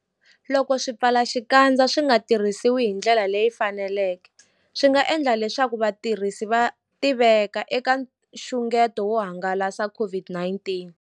Loko swipfalaxikandza swi nga tirhisiwi hi ndlela leyi faneleke, swi nga endla leswaku vatirhisi va tiveka eka nxungeto wo hangalasa COVID-19.